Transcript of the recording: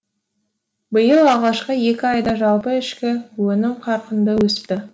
биыл алғашқы екі айда жалпы ішкі өнім қарқынды өсіпті